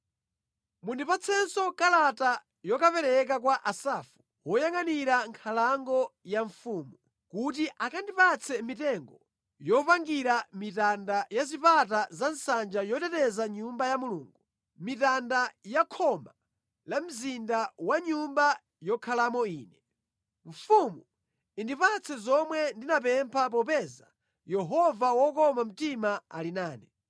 Mundipatsenso kalata yokapereka kwa Asafu woyangʼanira nkhalango ya mfumu, kuti akandipatse mitengo yokapangira mitanda ya zipata za nsanja yoteteza Nyumba ya Mulungu, mitanda ya khoma la mzinda ndi ya nyumba yokhalamo ine.” Mfumu indipatse zomwe ndinapempha popeza Yehova wokoma mtima anali nane.